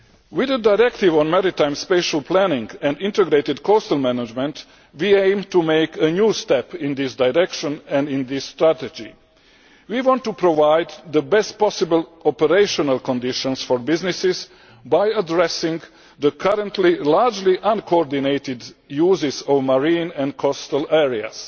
With the Directive on Maritime Spatial Planning and Integrated Coastal Management, we aim to make a new step in this direction and in this strategy. We want to provide the best possible operational conditions for businesses by addressing the currently largely uncoordinated uses of marine and coastal areas.